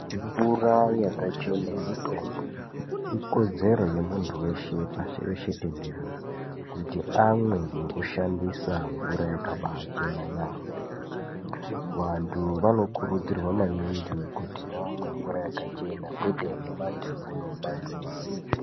Mvura yakachena mutombo ikodzero yemuntu weshe pashi reshe tenderere kuti amwe nekushandisa mvura yakabaachena yaamho vantu vanokurudzirwa maningi kuti vamwe mvura yakachena kweteyomumadhamu nemumanzizi.